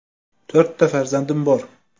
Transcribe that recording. To‘rtta farzandim bor.